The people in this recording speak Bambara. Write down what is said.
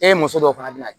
E ye muso dɔw fana bila